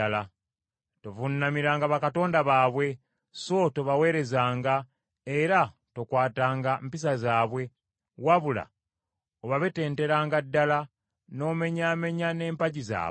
Tovuunamiranga bakatonda baabwe, so tobaweerezanga, era tokwatanga mpisa zaabwe, wabula obabetetaranga ddala, n’omenyaamenya n’empagi zaabwe.